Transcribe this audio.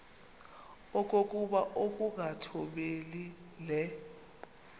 okokuba ukungathobeli le